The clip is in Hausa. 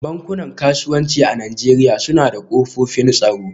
Bankunan kasuwanci a Najeriya suna da kofofin tsaro